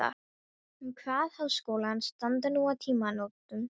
Hann kvað Háskólann standa nú á tímamótum.